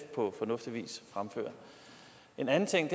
på fornuftig vis en anden ting